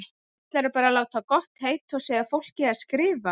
Ætlarðu bara að láta gott heita að segja fólki að skrifa!